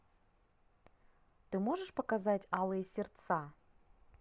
ты можешь показать алые сердца